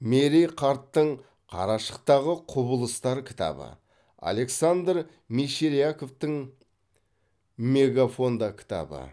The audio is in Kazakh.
мерей қарттың қарашықтағы құбылыстар кітабы александр мещеряковтың мегафонда кітабы